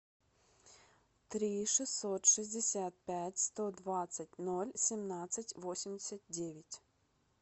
три шестьсот шестьдесят пять сто двадцать ноль семнадцать восемьдесят девять